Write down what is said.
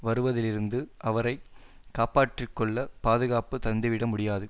வருவதிலிருந்து அவரை காப்பாற்றிக்கொள்ள பாதுகாப்பு தந்துவிட முடியாது